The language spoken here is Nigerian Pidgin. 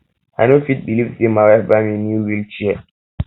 i no fit believe say my wife buy me new wheel me new wheel chair